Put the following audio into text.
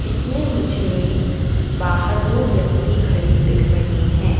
इसमें मुझे बाहर दो व्यक्ति खड़े दिख रहे हैं।